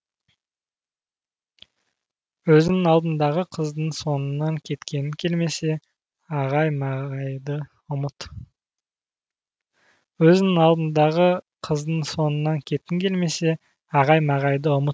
өзіңнің алдыңдағы қыздың соңынан кеткің келмесе ағай мағайды ұмыт